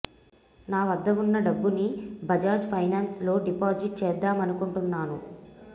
నా వద్ద ఉన్న డబ్బు ని బజాజ్ ఫైనాన్స్ లో డిపాజిట్ చేద్దామనుకుంటున్నాను